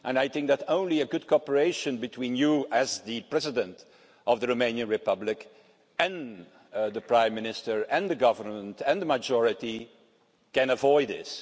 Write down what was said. I think that only good cooperation between you, as the President of the Romanian Republic, and the Prime Minister, the Government and the majority can avoid this.